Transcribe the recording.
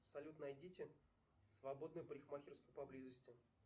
салют найдите свободную парикмахерскую поблизости